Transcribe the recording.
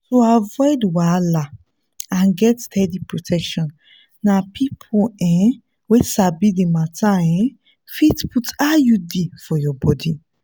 to avoid wahala and get steady protection na people um wey sabi d matter um fit put iud for your body.